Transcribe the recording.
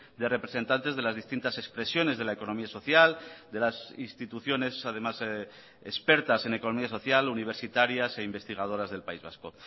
de representantes de las distintas expresiones de la economía social de las instituciones además expertas en economía social universitarias e investigadoras del país vasco